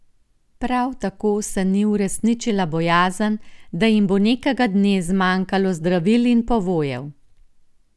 Prav tako se ni uresničila bojazen, da jim bo nekega dne zmanjkalo zdravil in povojev.